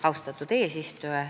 Austatud eesistuja!